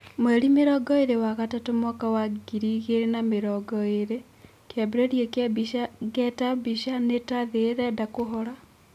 Mweri mĩrongoĩrĩ wa gatatu mwaka wa ngiri igĩrĩ na mĩrongoĩrĩ, kĩambĩrĩria kĩa mbica Ngeta Mbica, Nĩ ta thĩ ĩrenda kũhora.